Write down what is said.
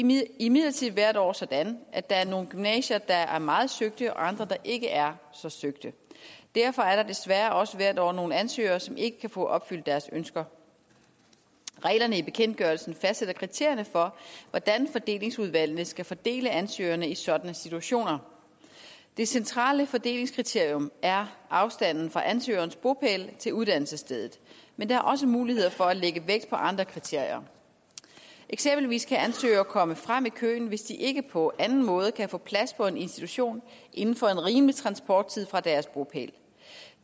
imidlertid hvert år sådan at der er nogle gymnasier der er meget søgte og andre der ikke er så søgte derfor er der desværre også hvert år nogle ansøgere som ikke kan få opfyldt deres ønsker reglerne i bekendtgørelsen fastsætter kriterierne for hvordan fordelingsudvalgene skal fordele ansøgerne i sådanne situationer det centrale fordelingskriterium er afstanden fra ansøgerens bopæl til uddannelsesstedet men der er også muligheder for at lægge vægt på andre kriterier eksempelvis kan ansøgere komme frem i køen hvis de ikke på anden måde kan få plads på en institution inden for en rimelig transporttid fra deres bopæl